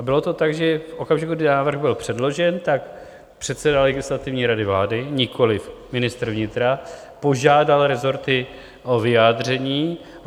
A bylo to tak, že v okamžiku, kdy návrh byl předložen, tak předseda Legislativní rady vlády, nikoli ministr vnitra, požádal rezorty o vyjádření.